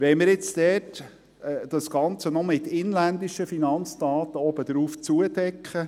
Wollen wir jetzt das Ganze noch mit inländischen Daten zudecken?